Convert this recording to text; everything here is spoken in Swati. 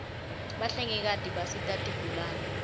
bahlengikati bisita tigulane